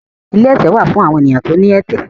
Ilé ẹtẹ wà fún awọn ènìyàn tí o ní ẹtẹ